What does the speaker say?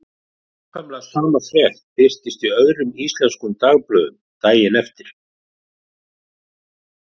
Nákvæmlega sama frétt birtist í öðrum íslenskum dagblöðum daginn eftir.